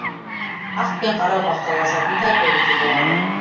ақ пен қара бақталасын да көруге болады